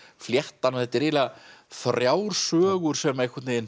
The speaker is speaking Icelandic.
fléttan þetta er eiginlega þrjár sögur sem einhvern veginn